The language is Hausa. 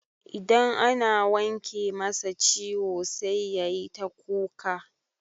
Idan ana wanke masa ciwo sai yayi ta kuka.